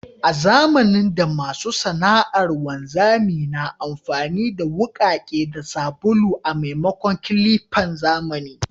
A zamanin da, masu sana’ar wanzami na amfani da wukake da sabulu a maimakon clippan zamani.